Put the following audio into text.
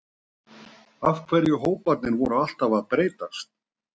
Af hverju hóparnir voru alltaf að breytast?